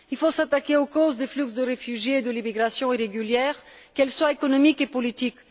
Il faut s'attaquer aux causes des flux de réfugiés et de l'immigration irrégulière, qu'elles soient économiques et politiques.